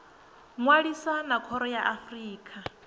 ṅwalisa na khoro ya afrika